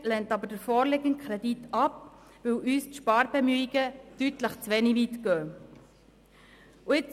Die Minderheit lehnt aber den vorliegenden Kredit ab, weil uns die Sparbemühungen zu wenig weit gehen.